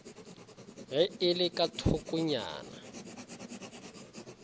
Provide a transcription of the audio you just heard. ge e le ka thokongya